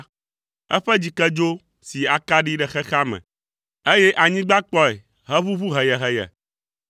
Eƒe dzikedzo si akaɖi ɖe xexea me, eye anyigba kpɔe heʋuʋu heyeheye.